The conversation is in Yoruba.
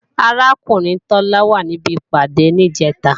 Arákùnrin Tọ́lá wà ní ibi ìpàdé ní Ìjẹ́ta